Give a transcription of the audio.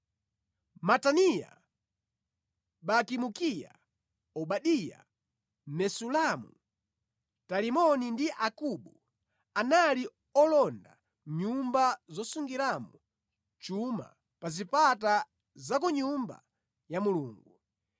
Mataniya, Bakibukiya, Obadiya, Mesulamu, Talimoni ndi Akubu anali olonda nyumba zosungiramo chuma pa zipata za ku Nyumba ya Mulungu.